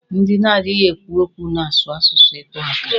Ndị na-adịghi ekwu okwu na-asụ asụsụ ịtụaka.